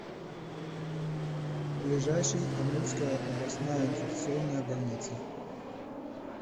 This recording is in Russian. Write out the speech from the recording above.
ближайший амурская областная инфекционная больница